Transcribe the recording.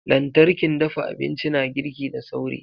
lantarkin dafa abinci na girki da sauri.